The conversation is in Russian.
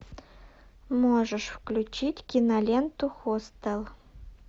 можешь включить киноленту хостел